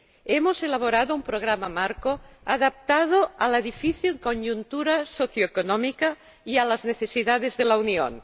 Hemos elaborado un programa marco adaptado a la difícil coyuntura socioeconómica y a las necesidades de la Unión.